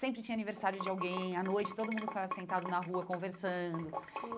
Sempre tinha aniversário de alguém à noite, todo mundo ficava sentado na rua conversando.